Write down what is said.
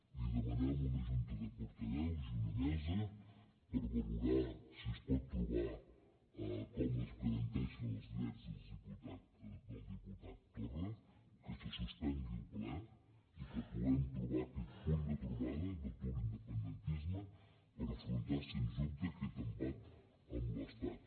li demanem una junta de portaveus i una mesa per valorar si es pot trobar com es garanteixen els drets del diputat torra que se suspengui el ple i que puguem trobar aquest punt de trobada de tot l’independentisme per afrontar sens dubte aquest embat amb l’estat